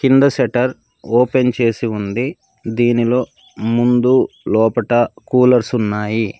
కింద shutter open చేసి ఉంది దీనిలో ముందు లోపట కూలర్స్ ఉన్నాయి.